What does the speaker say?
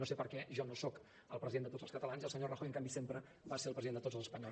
no sé per què jo no soc el president de tots els catalans i el senyor rajoy en canvi sempre va ser el president de tots els espanyols